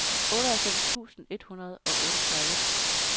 otteoghalvfems tusind et hundrede og otteogtredive